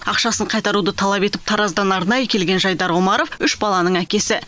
ақшасын қайтаруды талап етіп тараздан арнайы келген жайдар омаров үш баланың әкесі